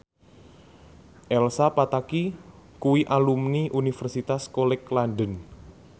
Elsa Pataky kuwi alumni Universitas College London